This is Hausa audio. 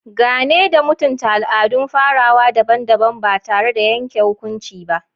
Gane da mutunta al'adun farawa daban-daban ba tare da yanke hukunci ba.